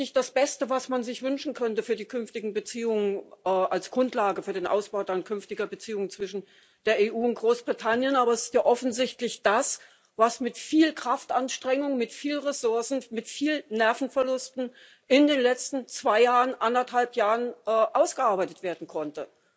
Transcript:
Es ist nicht das Beste, was man sich wünschen könnte für die künftigen Beziehungen als Grundlage für den Ausbau künftiger Beziehungen zwischen der EU und Großbritannien aber es ist ja offensichtlich das, was mit viel Kraftanstrengung, mit viel Ressourcen und mit viel Nervenverlusten in den letzten zwei Jahren, anderthalb Jahren, ausgearbeitet werden konnte.